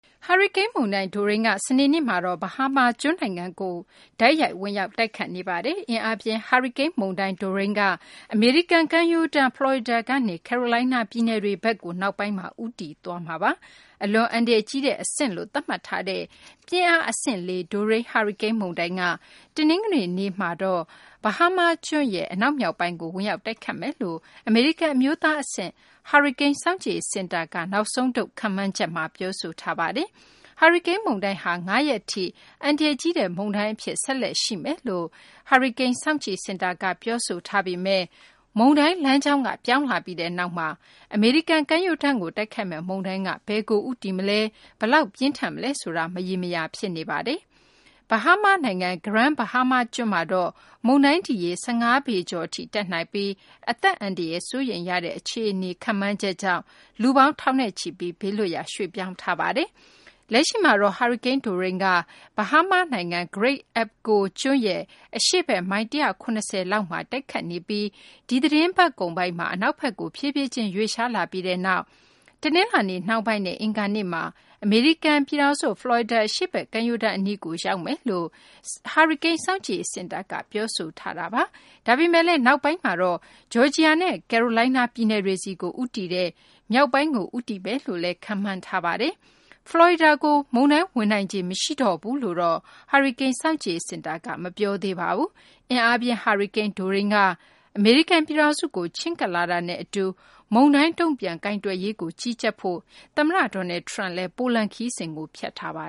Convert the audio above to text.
ဟာရီကိန်းမုန်တိုင်း Dorian က စနေနေ့မှာတော့ Bahamas ကျွန်းကို တိုက်ရိုက် ဝင်ရောက်တိုက်ခတ်နေပါတယ်။ အင်အားပြင်း ဟာရီကိန်းမုန်တိုင်း Dorian က အမေရိကန်ကမ်းရိုးတန်း ဖလော်ရီဒါကနေ ကယ်ရိုလိုင်းနား ပြည်နယ်တွေဘက်ကို နောက်ပိုင်းမှာ ဦးတည်သွားမှာပါ။ အလွန်အန္တရာယ်ကြီးတဲ့အဆင့်လို့ သတ်မှတ်ထားတဲ့ ပြင်းအား အဆင့် ၄ Dorian ဟာရီကိန်းမုန်တိုင်းက တနင်္ဂနွေနေ့မှာတော့ Bahamas ကျွန်းရဲ့ အနောက်မြောက်ပိုင်းကို ဝင်ရောက်တိုက်ခတ်မယ်လို့ အမေရိကန် အမျိုးသားအဆင့် ဟာရီကိန်း စောင့်ကြည့်ရေးစင်တာက နောက်ဆုံးထုတ် ခန့်မှန်းချက်မှာ ပြောဆိုထားပါတယ်။ ဟာရီကိန်းမုန်တိုင်း Dorian ဟာ ၅ ရက်ထိ အန္တရာယ်ကြီးတဲ့ မုန်တိုင်းအဖြစ် ဆက်လက် ရှိနေမယ်လို့ ဟာရီကိန်း စောင့်ကြည့်စင်တာက ပြောဆိုထားပေမယ့် မုန်တိုင်း လမ်းကြောင်းက ပြောင်းလာပြီးနောက်မှာ အမေရိကန် ကမ်းရိုးတန်းကို တိုက်ခတ်မယ့် မုန်တိုင်းက ဘယ်ကိုဦးတည်မလဲ၊ ဘယ်လောက်ပြင်းထန်မလဲဆိုတာ မရေမရာ ဖြစ်နေပါတယ်။ Bahama နိုင်ငံ Grand Bahama ကျွန်းမှာတော့ မုန်တိုင်းဒီရေ ၁၅ ပေကျော်အထိ တက်နိုင်ပြီး အသက်အန္တရာယ် စိုးရိမ်ရတဲ့ အခြေအနေ ခန့်မှန်းချက်ကြောင့် လူပေါင်း ထောင်နဲ့ချီပြီး ဘေးလွတ်ရာ ရွှေ့ပြောင်းထားရပါတယ်။ လက်ရှိမှာတော့ ဟာရီကိန်း Dorain က Bahama နိုင်ငံ Great Abaco ကျွန်းရဲ့ အရှေ့ဘက် မိုင် ၁၇၀ လောက်မှာ တိုက်ခတ်နေပြီး ဒီသီတင်းပတ်ကုန်ပိုင်းမှာ အနောက်ဘက်ကို ဖြည်းဖြည်းချင်း ရွေ့လျားလာပြီးနောက် တနလာၤနေ့ နှောင်းပိုင်းနဲ့ အင်္ဂါနေ့မှာ အမေရိကန် ဖလော်ရီဒါ အရှေ့ဘက် ကမ်းရိုးတန်းအနီးကို ရောက်လာမယ်လို့ အမေရိကန် ဟာရီကိန်းစောင့်ကြည့်ရေးစင်တာက ပြောဆိုထားတာပါ။ ဒါပေမယ့်လည်း နောက်ပိုင်းမှာတော့ ဂျော်ဂျီယာနဲ့ ကယ်ရိုလိုင်းနား ပြည်နယ်တွေဆီကို ဦးတည်တဲ့ မြောက်ပိုင်းကို ဦးတည်မယ်လို့ ခန့်မှန်းထားပါတယ်။ ဖလော်ရီဒါကို မုန်တိုင်း ဝင်နိုင်ခြေ မရှိတော့ဘူးလို့တော့ ဟာရီကိန်း စောင့်ကြည့်ရေးစင်တာက မပြောသေးပါဘူး။ အင်အားပြင်း ဟာရီကိန်း Dorain က အမေရိကန် ပြည်ထောင်စုကို ချဉ်းကပ်လာတာနဲ့ အတူ မုန်တိုင်း တုံ့ပြန်ကိုင်တွယ်ရေးကို ကြီးကြပ်ဖို့ သမ္မတ Donald Trump က ပိုလန် ခရီးစဉ်ကို ဖျက်ထားပါ